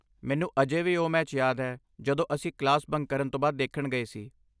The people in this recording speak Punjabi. ਮੈਨੂੰ ਅਜੇ ਵੀ ਓਹ ਮੈਚ ਯਾਦ ਹੈ ਜੋ ਅਸੀਂ ਕਲਾਸ ਬੰਕ ਕਰਨ ਤੋਂ ਬਾਅਦ ਦੇਖਣ ਗਏ ਸੀ